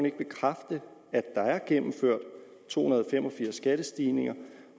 ikke bekræfte at der er gennemført to hundrede og fem og firs skattestigninger